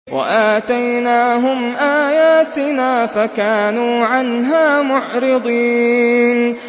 وَآتَيْنَاهُمْ آيَاتِنَا فَكَانُوا عَنْهَا مُعْرِضِينَ